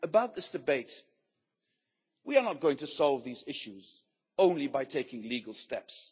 Regarding this debate, we are not going to solve these issues only by taking legal steps.